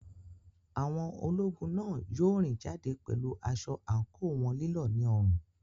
Àwọn ológun náà yóò rìn jáde pẹ̀lú aṣọ àǹkóò wọn lílọ̀ ní ọrùn.